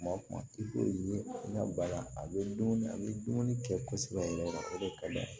Kuma o kuma i b'o ye i ka baara a bɛ dumuni a bɛ dumuni kɛ kosɛbɛ yɛrɛ o de ka d'a ye